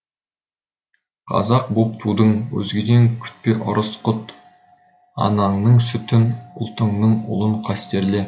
қазақ боп тудың өзгеден күтпе ырыс құт анаңның сүтін ұлтыңның ұлын қастерле